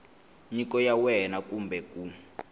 nyiko ya wena kumbe ku